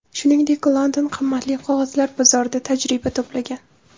Shuningdek, London qimmatli qog‘ozlar bozorida tajriba to‘plagan.